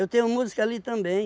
tenho música ali também.